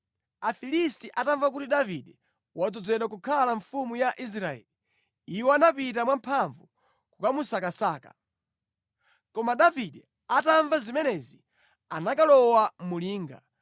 Afilisti atamva kuti Davide wadzozedwa kukhala mfumu ya Israeli, iwo anapita mwamphamvu kukamusakasaka. Koma Davide atamva zimenezi anakalowa mu linga.